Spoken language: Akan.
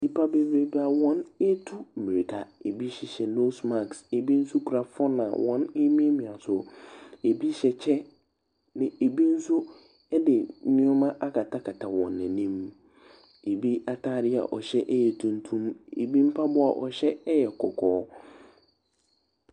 Nnipa bebrebe a wɔretu mmirika. Ɛbi hyehyɛ nose mask. Ɛbi nso kura phone a wɔremiamia so. Ɛbi hyɛ kyɛ, na ɛbi nso de nneɛma akatakata wɔn anim. Ɛbi atadeɛ a wɔhyɛ yɛ tuntum, ɛbi mpaboa a ɔhyɛ yɛ kɔkɔɔ.